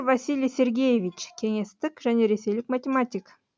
василий сергеевич кеңестік және ресейлік математик